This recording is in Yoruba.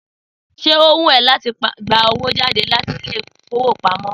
Sé ó wù ọ láti gba owó jáde láti Ilé-ìfowópamó